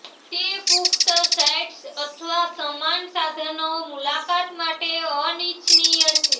તે પુખ્ત સાઇટ્સ અથવા સમાન સાધનો મુલાકાત માટે અનિચ્છનીય છે